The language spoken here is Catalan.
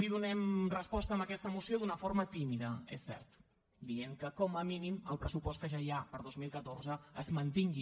hi donem resposta amb aquesta moció d’una forma tímida és cert dient que com a mínim el pressupost que ja hi ha per a dos mil catorze es mantingui